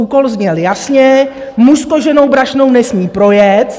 Úkol zněl jasně: muž s koženou brašnou nesmí projet.